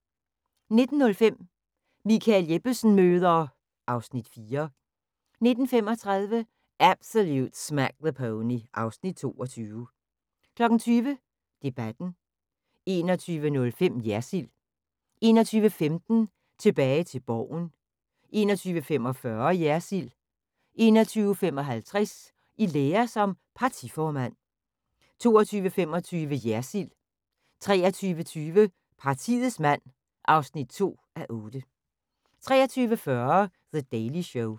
19:05: Michael Jeppesen møder ... (Afs. 4) 19:35: Absolute Smack the Pony (Afs. 22) 20:00: Debatten 21:05: Jersild 21:15: Tilbage til Borgen 21:45: Jersild 21:55: I lære som partiformand 22:25: Jersild 23:20: Partiets mand (2:8) 23:40: The Daily Show